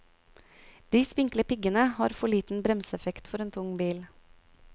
De spinkle piggene har for liten bremseeffekt for en tung bil.